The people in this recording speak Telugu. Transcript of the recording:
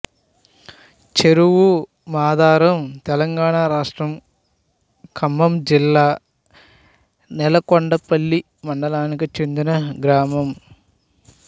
చెరువు మాధారంతెలంగాణ రాష్ట్రం ఖమ్మం జిల్లా నేలకొండపల్లి మండలానికి చెందిన గ్రామం